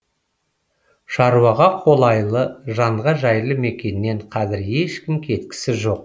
шаруаға қолайлы жанға жайлы мекеннен қазір ешкім кеткісі жоқ